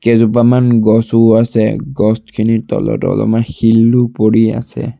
কেইজোপামান গছও আছে গছখিনিৰ তলত অলপমান শিলো পৰি আছে।